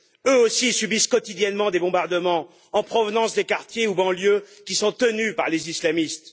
Eux aussi subissent quotidiennement des bombardements en provenance des quartiers ou banlieues qui sont tenus par les islamistes.